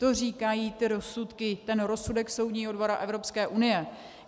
To říkají ty rozsudky, ten rozsudek Soudního dvora Evropské unie.